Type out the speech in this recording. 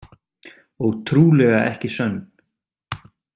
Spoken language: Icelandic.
Og trúlega ekki sönn.